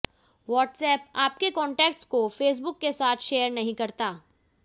WhatsApp आपके contacts को Facebook के साथ शेयर नहीं करता